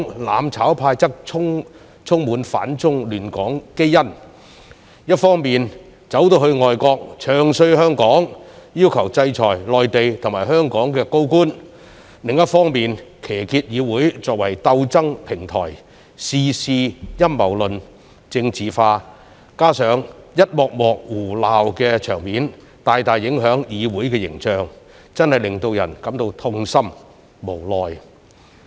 "攬炒派"則充滿反中亂港基因，一方面跑到外國"唱衰"香港，要求制裁內地及香港高官；另一方面，騎劫議會作為鬥爭平台，事事陰謀論、政治化，加上一幕幕胡鬧的場面，大大影響議會形象，真的令人感到痛心、無奈。